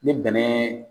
Ni bɛnɛ